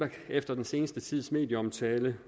efter den seneste tids medieomtale